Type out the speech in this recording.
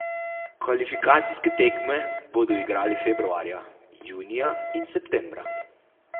Kvalifikacijske tekme bodo igrali februarja, junija in septembra.